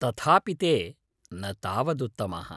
तथापि ते न तावदुत्तमाः।